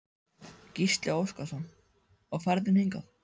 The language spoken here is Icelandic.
Gísli Óskarsson: Og ferðin hingað?